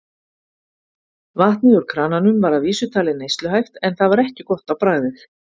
Vatnið úr krananum var að vísu talið neysluhæft en það var ekki gott á bragðið.